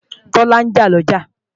Tọ́lá ń jà lọ́jà